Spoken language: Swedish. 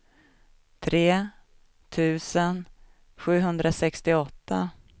tre tusen sjuhundrasextioåtta